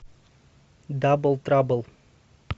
дабл трабл